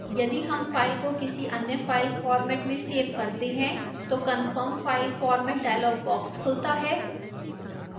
यदि हम file को किसी any file format में सेव करते हैं तो confirm file format dialog box खुलता है